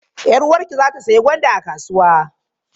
Yar uwarki za ta sayi gwanda a kasuwa?